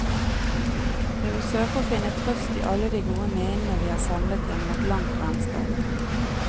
Vi vil søke å finne trøst i alle de gode minnene vi har samlet gjennom et langt vennskap.